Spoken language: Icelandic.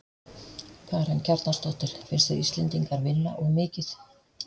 Karen Kjartansdóttir: Finnst þér Íslendingar vinna of mikið?